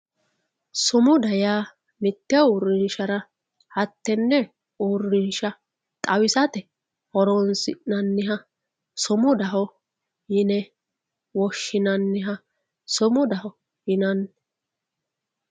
sumuda yaa mitte uurrinsha hattenne xawisate yine horonsi'nanniha sumudaho yine woshshinanniha sumudaho yinanni.